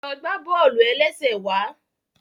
Lọ gbà bọ́ọ̀lù-ẹlẹ́sẹ̀ wàá